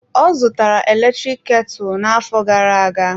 Ọ zụtara eletrik ketu na-afọ gara-aga.